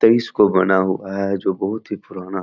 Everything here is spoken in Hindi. तेईस को बना हुआ है जो बहुत ही पुराना --